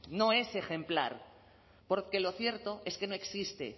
no es ejemplar porque lo cierto es que no existe